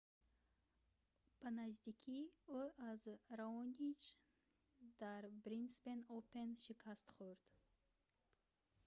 ба наздикӣ ӯ аз раонич дар брисбен опен шикаст хӯрд